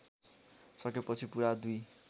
सकेपछि पुरा २